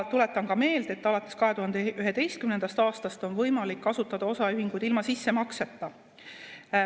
Tuletan meelde, et alates 2011. aastast on võimalik asutada osaühinguid ilma sissemakseta.